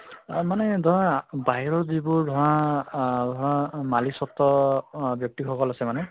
মানে ধৰা বাহিৰৰ যিবোৰ ধৰা আহ ধৰা মালিক্চত্ত অহ ব্য়ক্তি সকল আছে